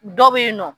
Dɔ bɛ yen nɔ